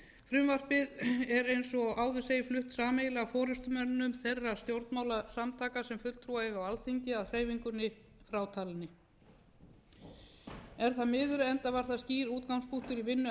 frumvarpið er eins og áður segir flutt sameiginlega af forustumönnum þeirra stjórnmálasamtaka sem fulltrúa eiga á alþingi að hreyfingunni frátalinni er það miður enda var það skýr útgangspunktur í vinnu